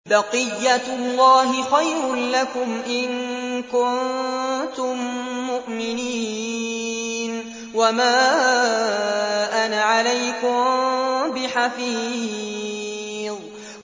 بَقِيَّتُ اللَّهِ خَيْرٌ لَّكُمْ إِن كُنتُم مُّؤْمِنِينَ ۚ وَمَا أَنَا عَلَيْكُم بِحَفِيظٍ